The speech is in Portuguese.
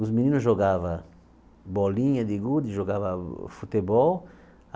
Os meninos jogava bolinha de gude, jogava futebol.